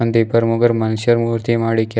ಒಂದಿಬ್ಬರ್ ಮೂವರ್ ಮಾಶ್ಯರ್ ಮೂರ್ತಿ ಮಾಡಿ ಇಕ್ಕಯ್ರ್-